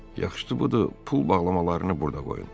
Yaxşı budur, pul bağlamalarını burda qoyun.